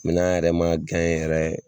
Min n'an yɛrɛ ma gaɲɛn yɛrɛ